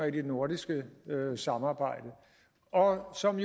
i det nordiske samarbejde og som